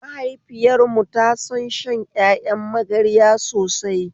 Mahaifiyar mu ta son shan ƴaƴan magarya sosai